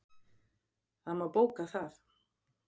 Það má bóka það.